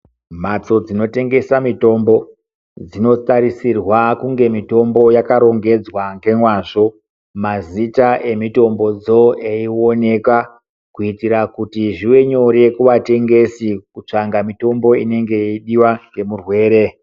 Mhatso dzinotengesa mitombo, dzinotarisirwa kunge mitombo yakarongedzwa ngemwazvo, mazita emitombodzo eioneka, kuitira kuti zvive nyore kuvatengesi kutsvanga mitombo inenge yeidiwa ngemurwere.